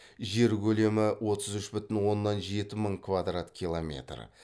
жер көлемі отыз үш бүтін оннан жеті мың квадрат километр